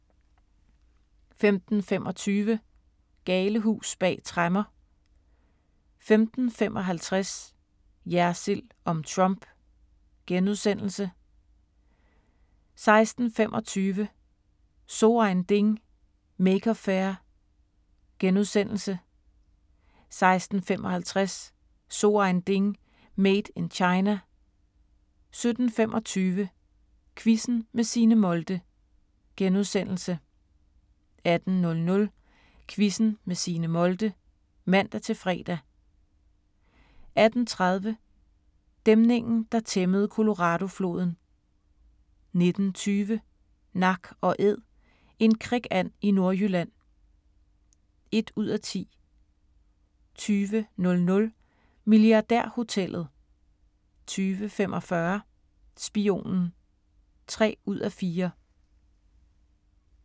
15:25: Galehus bag tremmer 15:55: Jersild om Trump * 16:25: So ein Ding: Maker Faire * 16:55: So ein Ding: Made in China 17:25: Quizzen med Signe Molde * 18:00: Quizzen med Signe Molde (man-fre) 18:30: Dæmningen der tæmmede Coloradofloden 19:20: Nak & æd - en krikand i Nordjylland (1:10) 20:00: Milliardærhotellet 20:45: Spionen (3:4)